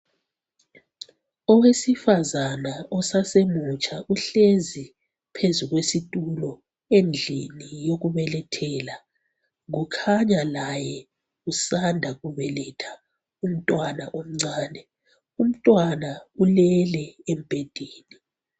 Owesifazana osasemutsha uhlezi phezu kwesitulo endlini yokubelethela ,kukhanya laye usanda kubeletha umntwana omncane. Umntwana ulele embedeni.